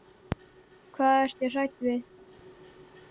Hvað ertu hrædd við?